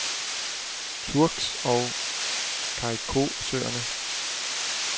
Turks- og Caicosøerne